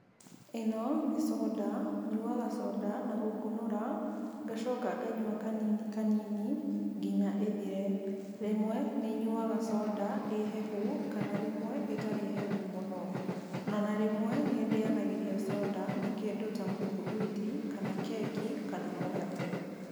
Ĩno nĩ conda, nyuaga conda na gũkũnũra, ngacoka nganyua kanini kanini nginya ĩthire. Rĩmwe nĩnyuaga conda ĩhehu, kana rĩmwe ĩtarĩ henu mũno. Ona rĩmwe, nĩndĩyanagĩria conda na kĩndũ tamũthuguiti, kana keki, kana mũgate.